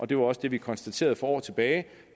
det var også det vi konstaterede for år tilbage